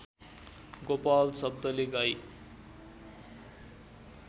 गोपाल शब्दले गाई